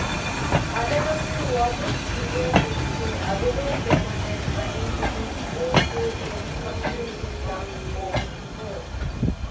আদালতে ওয়াদুদ ভুঁইয়ার পক্ষে আবেদন জমা দেন আইনজীবী একেএম ফখরুল ইসলাম ও মো